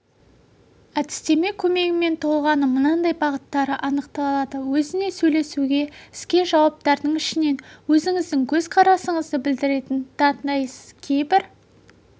әдістеме көмегімен тұлғаның мынандай бағыттары анықталады өзіне сөйлесуге іске жауаптардың ішінен өзіңіздің көзқарасыңызды білдіретінін таңдайсыз кейбір